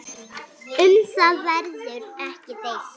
Um það verður ekki deilt.